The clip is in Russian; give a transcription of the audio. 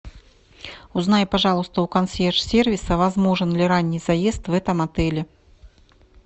узнай пожалуйста у консьерж сервиса возможен ли ранний заезд в этом отеле